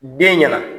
Den ɲɛna